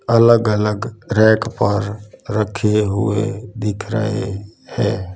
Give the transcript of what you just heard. अलग अलग रैक पर रखे हुए दिख रहे हैं।